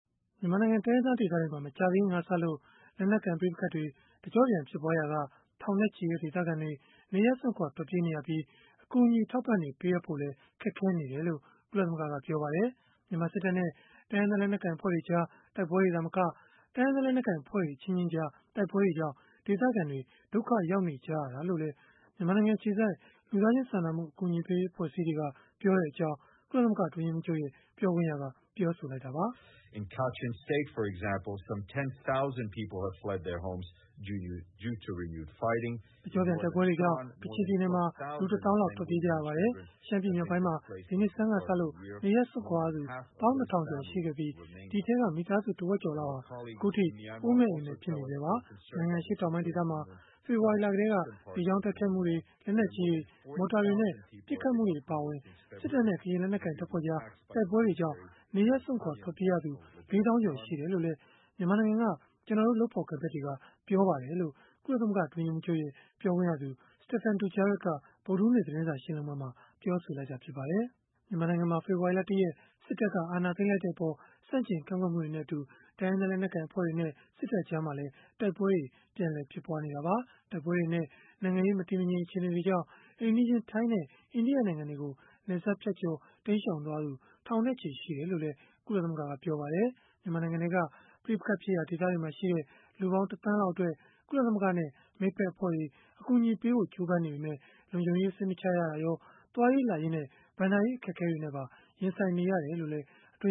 မြန်မာနိုင်ငံ တိုင်းရင်းသား ဒေသတွေမှာ မကြာသေးခင်ကစလို့ လက်နက်ကိုင် ပဋိပက္ခတွေ တကျော့ပြန် ဖြစ်ပွားရာက ထောင်နဲ့ချီတဲ့ ဒေသခံတွေ နေရပ်စွန့်ခွာ ထွက်ပြေးနေရပြီး၊ အကူအညီ အထောက်အပံ့တွေ ပေးအပ်ဖို့လည်း ခက်ခဲနေတယ်လို့ ကုလသမဂ္ဂက ပြောပါတယ်။ မြန်မာစစ်တပ်နဲ့ တိုင်းရင်းသား လက်နက်ကိုင် အဖွဲ့တွေကြား တိုက်ပွဲတွေ သာမက တိုင်းရင်းသား လက်နက်ကိုင် အဖွဲ့တွေ အချင်းချင်းကြား တိုက်ပွဲတွေကြောင့် ဒေသခံတွေ ဒုက္ခရောက်နေကြရတာလို့လည်း မြန်မာနိုင်ငံ အခြေစိုက် လူသားချင်းစာနာမှု အကူအညီပေးရေး အဖွဲ့အစည်းတွေက ပြောတဲ့အကြောင်း ကုလသမဂ္ဂ အတွင်းရေးမှူးချုပ်ရဲ့ ပြောခွင့်ရက ပြောဆိုလိုက်တာပါ။ “တကျော့ပြန် တိုက်ပွဲတွေကြောင့် ကချင်ပြည်နယ်မှာ လူ ၁ သောင်းလောက် ထွက်ပြေးကြရပါတယ်။ ရှမ်းပြည်မြောက်ပိုင်းမှာ ဒီနှစ်ဆန်းကစလို့ နေရပ်စွန့်ခွာရသူ ၁၂,၀၀၀ ကျော် ရှိခဲ့ပြီး၊ ဒီအထဲက မိသားစု တဝက်ကျော်လောက်ဟာ အခုအထိ အိုးမဲ့အိမ်မဲ့ ဖြစ်နေဆဲပါ။ နိုင်ငံ အရှေ့တောင်ပိုင်း ဒေသမှာလည်း ဖေဖော်ဝါရီလ ကတည်းက လေကြောင်း တိုက်ခိုက်မှုတွေ၊ လက်နက်ကြီးတွေ၊ မော်တာတွေနဲ့ ပစ်ခတ်မှုတွေ အပါအဝင် စစ်တပ်နဲ့ ကရင်လက်နက်ကိုင် တပ်ဖွဲ့ကြား တိုက်ပွဲတွေကြောင့် နေရပ်စွန့်ခွာ ထွက်ပြေးရသူ ၄ သောင်းကျော် ရှိတယ်လို့လည်း မြန်မာနိုင်ငံက ကျနော်တို့ လုပ်ဖော်ကိုင်ဖက်တွေက ပြောပါတယ်။” လို့ ကုလသမဂ္ဂ အတွင်းရေးမှူးချုပ်ရဲ့ ပြောခွင့်ရ Stéphane Dujarric က ဗုဒ္ဓဟူးနေ့ သတင်းစာ ရှင်းလင်းပွဲမှာ ပြောဆိုလိုက်တာ ဖြစ်ပါတယ်။ မြန်မာနိုင်ငံမှာ ဖေဖော်ဝါရီလ ၁ ရက် စစ်တပ်က အာဏာသိမ်းလိုက်တဲ့အပေါ် ဆန့်ကျင် ကန့်ကွက်မှုတွေနဲ့အတူ တိုင်းရင်းသား လက်နက်ကိုင် အဖွဲ့တွေနဲ့ စစ်တပ်ကြားမှာလည်း တိုက်ပွဲတွေ ပြန်လည်ဖြစ်ပွားနေတာပါ။ တိုက်ပွဲတွေနဲ့ နိုင်ငံရေး မတည်မငြိမ် အခြေအနေတွေကြောင့် အိမ်နီးချင်း ထိုင်းနဲ့ အိန္ဒိယနိုင်ငံတွေကို နယ်စပ်ဖြတ်ကျော် တိမ်းရှောင်သွားသူ ထောင်နဲ့ချီ ရှိတယ်လို့လည်း ကုလသမဂ္ဂက ပြောပါတယ်။ မြန်မာနိုင်ငံထဲက ပဋိပက္ခဖြစ်ရာ ဒေသတွေမှာရှိတဲ့ လူပေါင်း ၁ သန်းလောက်အတွက် ကုလသမဂ္ဂနဲ့ မိတ်ဖက်အဖွဲ့တွေ အကူအညီပေးဖို့ ကြိုးစားနေပေမဲ့ လုံခြုံရေးစိတ်မချရတာရော၊ သွားရေးလာရေးနဲ့ ဘဏ္ဍာရေး အခက်အခဲနဲ့ပါ ရင်ဆိုင်နေရတယ်လို့လည်း အတွင်